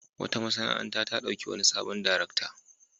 Wata masana'anta ta ɗauki wani sabon darakta.